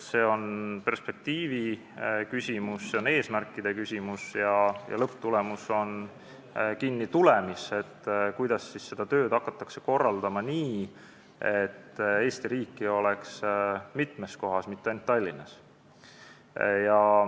See on perspektiiviküsimus, see on eesmärkide küsimus ja lõpptulemus sõltub sellest, kuidas hakata tööd korraldama nii, et Eesti riiki oleks mitmes kohas, mitte ainult Tallinnas.